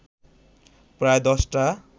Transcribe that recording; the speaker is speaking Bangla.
প্রায় দশটা